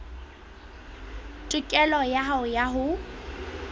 tokelo ya hao ya ho